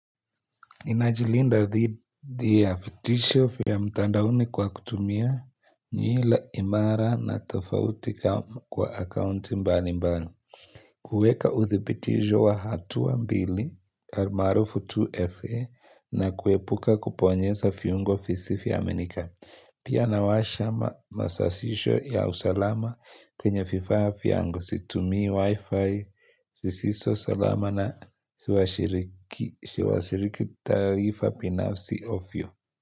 Inajilinda thidi ya fitisho fia mtandauni kwa kutumia nyila imara na tofauti ka kwa akaunti mbali mbali. Kueka uthipitijo wa hatua mbili almaarufu 2FA na kuepuka kuponyeza fiungo fisifyo aminika. Pia nawasha ma masasisho ya usalama kwenye fifaa fiango situmi wi-fi sisiso salama na siwasiriki taarifa pinafsi ofyo.